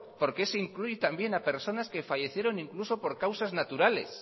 por qué se incluye también a personas que fallecieron incluso por causas naturales